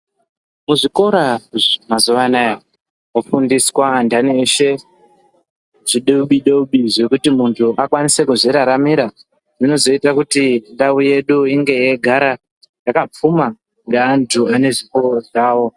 Muzvikora mazuva anaya mofundiswa andani eshe zvidobi dobi zvekuti muntu akwanise kuzviraramira zvinozoite kuti ndau yedu inge yeigara yakapfuma ngeantu ane zvipo zvavo.